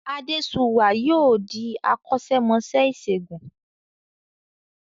Adéṣuwà yóò di akọ́ṣẹ́mọṣẹ́ ìṣègùn